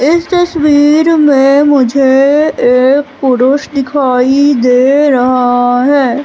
इस तस्वीर में मुझे एक पुरुष दिखाई दे रहा है।